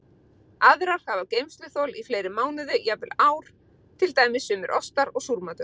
Aðrar hafa geymsluþol í fleiri mánuði, jafnvel ár, til dæmis sumir ostar og súrmatur.